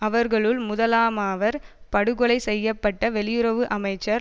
அவர்களில் முதலாமவர் படுகொலை செய்ய பட்ட வெளியுறவு அமைச்சர்